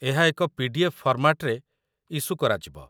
ଏହା ଏକ ପି.ଡି.ଏଫ୍. ଫର୍ମାଟ୍‌ରେ ଇସୁ କରାଯିବ